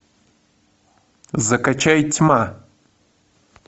закачай тьма